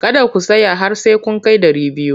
Kada ku tsaya har sai kun kai dari biyu!